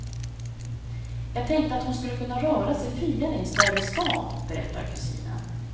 Jag tänkte att hon skulle kunna röra sig friare i en större stad, berättar kusinen.